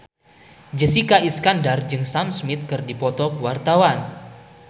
Jessica Iskandar jeung Sam Smith keur dipoto ku wartawan